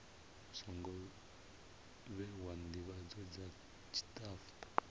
songo vhewa ndivhadzo dza tshitafu